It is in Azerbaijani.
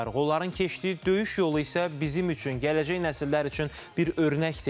Onların keçdiyi döyüş yolu isə bizim üçün, gələcək nəsillər üçün bir örnəkdir.